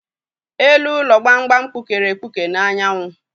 Elu ụlọ gbamgbam gbukere egbuke n'anyanwụ.